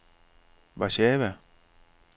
Warszawa